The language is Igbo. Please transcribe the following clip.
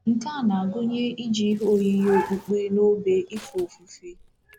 Nke a na-agụnye iji ihe oyiyi okpukpe na obe efe ofufe.